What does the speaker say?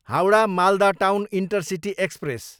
Howrah, Malda town intercity express